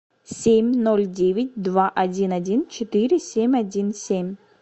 семь ноль девять два один один четыре семь один семь